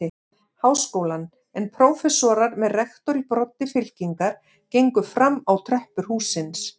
Háskólann, en prófessorar með rektor í broddi fylkingar gengu fram á tröppur hússins.